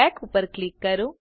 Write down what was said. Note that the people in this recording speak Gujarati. બેક ઉપર ક્લિક કરો